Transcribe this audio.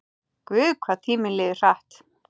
Guð, hvað tíminn líður hratt.